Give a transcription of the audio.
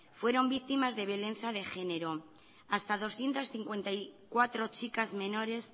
fueron víctimas de violencia de género hasta doscientos cincuenta y cuatro de chicas menores